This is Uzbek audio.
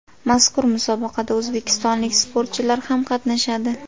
Mazkur musobaqada o‘zbekistonlik sportchilar ham qatnashadi.